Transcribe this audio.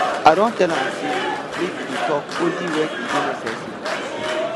i don tell am sey make e dey tok only wen e dey necessary